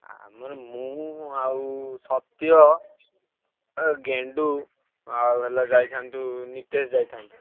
ଆଉ ମୁଁ ମୁଁ ଆଉ ସତ୍ୟ ଆଉ ଗେଣ୍ଡୁ ଆଉ ହେଲା ଯାଇଥାନ୍ତୁ ନିତେଶ୍ ଯାଇଥାନ୍ତୁ।